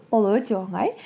ол өте оңай